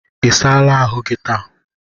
I saala ahụ gi taa?